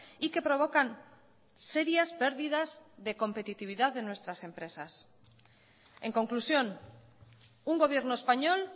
y que provocan serias pérdidas de competitividad de nuestras empresas en conclusión un gobierno español